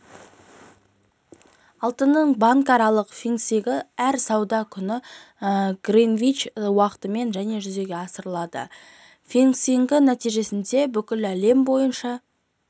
алтынның банкаралық фиксингі әр сауда күні гринвич уақытымен және жүзеге асырылады фиксингтің нәтижесі бүкіл әлем бойынша